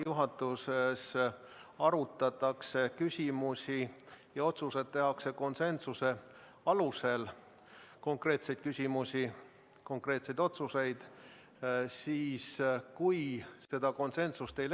Juhatuses arutatakse konkreetseid küsimusi, konkreetseid otsuseid, ja otsused tehakse konsensuse alusel.